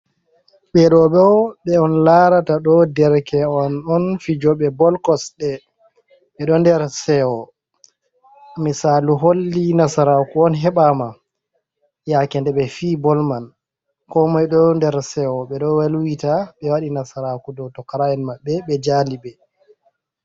Ɓe ɗo ɗo ɓe on larata ɗo ɗerke'en on fijoɓe bol kosɗe, ɓe ɗo nder sewo, misaalu holli nasaraku on heɓama yake nde ɓe fi bol man, ko moi ɗo nder sewo ɓe ɗo welwita ɓe waɗi nasaraku ɗo tokora'en maɓɓe ɓe jali ɓe.